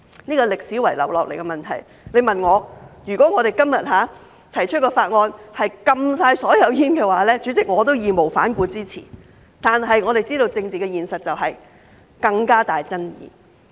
這是歷史遺留下來的問題，如果今天提出的法案是全面禁煙，主席，我也會義無反顧的支持，但我們知道政治現實是這會有更大爭議。